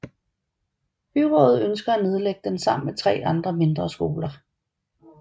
Byrådet ønsker at nedlægge den sammen med 3 andre mindre skoler